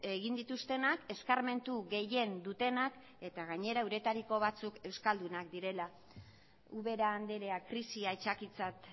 egin dituztenak eskarmentu gehien dutenak eta gainera euretariko batzuk euskaldunak direla ubera andrea krisia aitzakitzat